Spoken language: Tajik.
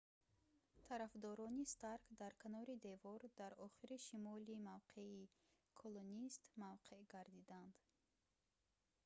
тарафдорони старк дар канори девор дар охири шимоли мавқеи колонист мавқеъ гирифтанд